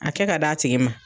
A kɛ ka d'a tigi ma.